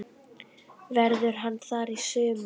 Verður hann þar í sumar?